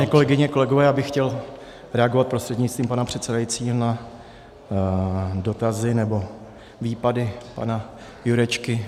Vážené kolegyně, kolegové, já bych chtěl reagovat prostřednictvím pana předsedajícího na dotazy nebo výpady pana Jurečky.